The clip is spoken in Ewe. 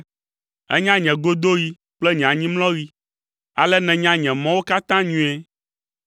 Ènya nye godoɣi kple nye anyimlɔɣi, ale nènya nye mɔwo katã nyuie.